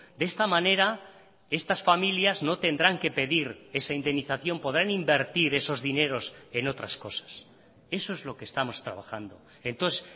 de esta manera estas familias no tendrán que pedir esa indemnización podrán invertir esos dineros en otras cosas eso es lo que estamos trabajando entonces